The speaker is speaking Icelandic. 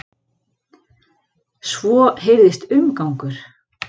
Svo heyrðist umgangur.